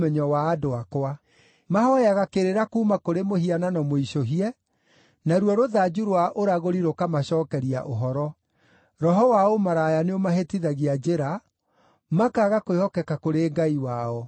wa andũ akwa. Mahooyaga kĩrĩra kuuma kũrĩ mũhianano mũicũhie, naruo rũthanju rwa ũragũri rũkamacookeria ũhoro. Roho wa ũmaraya nĩũmahĩtithagia njĩra; makaaga kwĩhokeka kũrĩ Ngai wao.